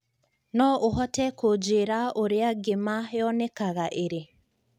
no ũhote kũnjĩira ũrĩa ngĩma yonekanga ĩrĩ